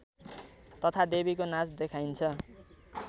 तथा देवीको नाच देखाइन्छ